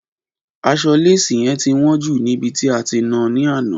Aṣọ léésì yẹn ti wọn jù níbi tí a ti náa ni àná